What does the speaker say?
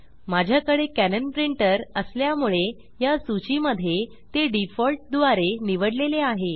माझ्याकडे कॅनन प्रिंटरअसल्यामुळे या सूची मध्ये ते डिफॉल्ट द्वारे निवडलेले आहे